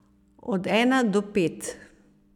Od ena do pet.